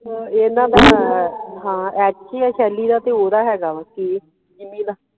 ਇਹਨਾਂ ਦਾ ਹਾਂ ਐਤਕੀ ਆ ਸ਼ੈਲੀ ਦਾ ਤੇ ਓਦਾਂ ਹੇਗਾ ਵਾ ਕੀ ਜਿੰਮੀ ਦਾ